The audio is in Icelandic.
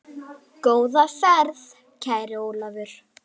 Góða ferð, kæri Ólafur.